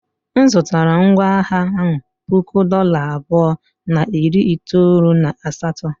M zụtara ngwá agha ahụ puku dollar abụọ na iri itoolu na asatọ.